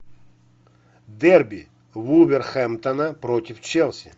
дерби вулверхэмптона против челси